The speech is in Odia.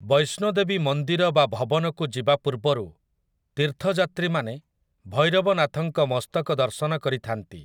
ବୈଷ୍ଣୋଦେବୀ ମନ୍ଦିର ବା ଭବନକୁ ଯିବା ପୂର୍ବରୁ ତୀର୍ଥଯାତ୍ରୀମାନେ ଭୈରବନାଥଙ୍କ ମସ୍ତକ ଦର୍ଶନ କରିଥାନ୍ତି ।